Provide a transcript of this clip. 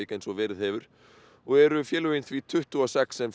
eins og verið hefur og eru félögin því tuttugu og sex sem